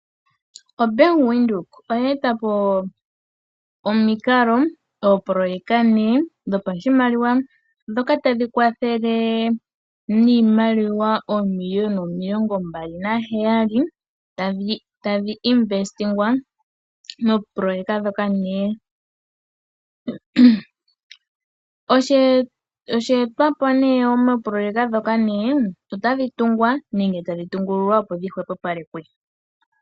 oBank Windhoek, oye eta po omikalo, ooproyeka ne dhopashimaliwa ndhoka tadhi kwathele niimaliwa oomiliuna omilongo mbali naheyali, tadhi investingwa mooproyeka ndhoka 4. Osheetwa po nee mooproyeka ndhoka ne, otadhi tungwa nenge tadhi tungululwa opo dhi opalekwe.